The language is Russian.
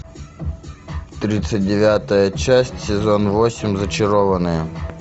тридцать девятая часть сезон восемь зачарованные